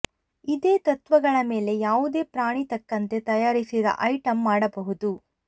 ಇದೇ ತತ್ವಗಳ ಮೇಲೆ ಯಾವುದೇ ಪ್ರಾಣಿ ತಕ್ಕಂತೆ ತಯಾರಿಸಿದ ಐಟಂ ಮಾಡಬಹುದು